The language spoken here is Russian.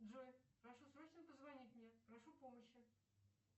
джой прошу срочно позвонить мне прошу помощи